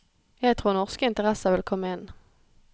Jeg tror norske interesser vil komme inn.